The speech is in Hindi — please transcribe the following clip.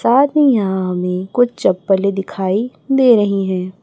साथ ही यहां हमें कुछ चप्पलें दिखाई दे रही हैं।